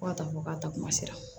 Fo ka taa fɔ k'a taa kuma sera